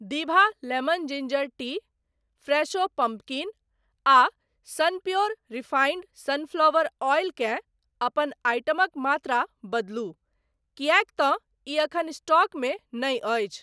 दिभा lemon ginger tea, Fresho pumpkin आ Sunpure refined sunflower oil केँ अपन आइटमक मात्रा बदलू किएक तँ ई एखन स्टॉकमे नहि अछि।